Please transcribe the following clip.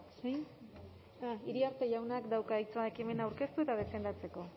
iriarte jaunak dauka hitza ekimena aurkeztu eta defendatzeko